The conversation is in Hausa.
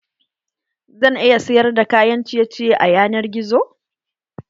Zan iya sayar da kayan ciye ciye a yanar gizo?